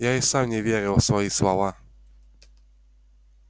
я и сам не верил в свои слова